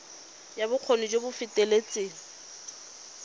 ya bokgoni jo bo feteletseng